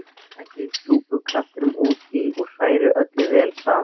Bætið súpukraftinum út í og hrærið öllu vel saman.